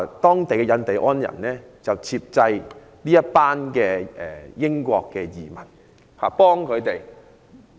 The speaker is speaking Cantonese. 當地的印第安人接濟這群移民，協助他們......